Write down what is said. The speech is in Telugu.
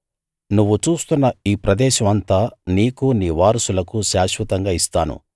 నువ్వు చూస్తున్న ఈ ప్రదేశం అంతా నీకు నీ వారసులకు శాశ్వతంగా ఇస్తాను